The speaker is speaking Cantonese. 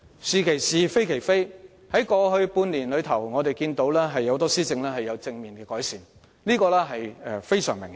"是其是，非其非"，在過去半年間，我們看到很多施政也有正面改善，這是相當明顯的。